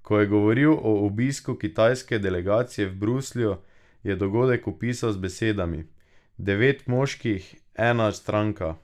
Ko je govoril o obisku kitajske delegacije v Bruslju, je dogodek opisal z besedami: "Devet moških, ena stranka.